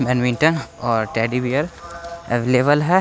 Badminton और teddy bear अवलेवल है।